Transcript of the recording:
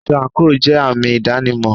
Aṣọ àńkò jẹ àmì ìdánimọ̀.